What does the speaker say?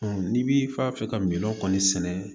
n'i b'i fa fɛ ka minɔn kɔni sɛnɛ